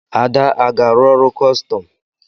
Ada aga-arụ ọrụ kọstọm?